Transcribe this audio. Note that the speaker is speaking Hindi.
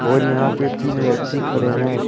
और यहां पे तीन व्यक्ति खड़े हैं।